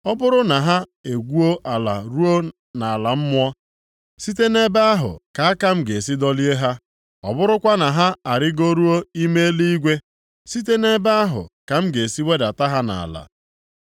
Ọ bụrụ na ha egwuo ala ruo nʼala mmụọ, site nʼebe ahụ ka aka m ga-esi dọlie ha, ọ bụrụkwa na ha arịgoruo ime eluigwe, site nʼebe ahụ ka m ga-esi wedata ha nʼala.